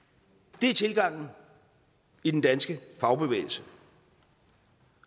det er tilgangen i den danske fagbevægelse